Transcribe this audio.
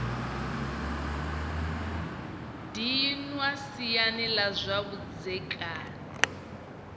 dinwa siani la zwa vhudzekani